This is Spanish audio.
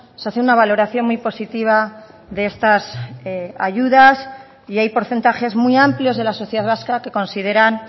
se hace una valoración muy positiva de estas ayudas y hay porcentajes muy amplios de la sociedad vasca que consideran